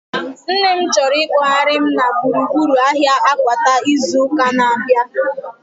Nne m chọrọ ikpoghari m na gburugburu ahia Akwata izu ụka na-abịa